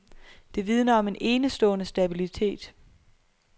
Det vidner om en enestående stabilitet.